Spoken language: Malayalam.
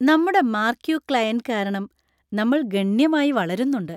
നമ്മുടെ മാർക്യൂ ക്ലയന്‍റ് കാരണം നമ്മൾ ഗണ്യമായി വളരുന്നുണ്ട്.